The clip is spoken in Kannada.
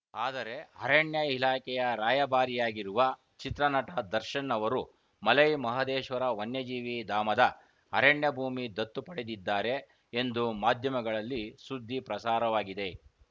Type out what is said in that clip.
ಆದರೆ ಅರಣ್ಯ ಇಲಾಖೆಯ ರಾಯಭಾರಿಯಾಗಿರುವ ಚಿತ್ರ ನಟ ದರ್ಶನ್‌ ಅವರು ಮಲೈ ಮಹದೇಶ್ವರ ವನ್ಯಜೀವಿ ಧಾಮದ ಅರಣ್ಯ ಭೂಮಿ ದತ್ತು ಪಡೆದಿದ್ದಾರೆ ಎಂದು ಮಾಧ್ಯಮಗಳಲ್ಲಿ ಸುದ್ದಿ ಪ್ರಸಾರವಾಗಿದೆ